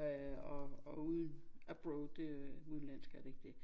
øh og og uden abroad det er udenlandsk er det ikke det?